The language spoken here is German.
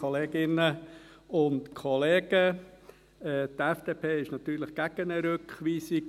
Die FDP ist natürlich gegen eine Rückweisung.